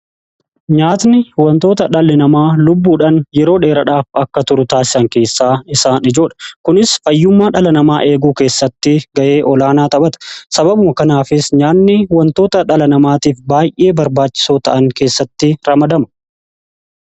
nyaatni wantoota dhalli namaa lubbuudhan yeroo dheeradhaaf akka turu taasisan keessaa isaa ijoodha. kunis fayyummaa dhala namaa eeguu keessatti ga'ee olaanaa taphata. sababu kanaafis nyaanni wantoota dhala namaatiif baay'ee barbaachisou ta'an keessatti ramadamu.